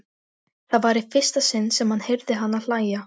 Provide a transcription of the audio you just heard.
En svo klemmdi hann aftur augun.